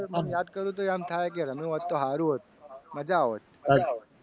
યાદ કરતો તો ને એમ થાય કે રમ્યો હોત તો સારું હતું મજા આવોત.